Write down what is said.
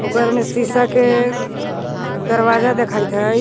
घर मे सीसा के दरवाजा देखाइत हई।